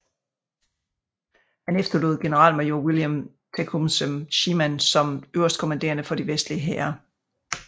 Han efterlod generalmajor William Tecumseh Sherman som øverstkommanderende for de vestlige hære